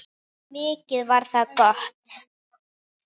Mikið var það gott.